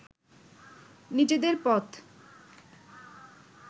নিজেদের পথ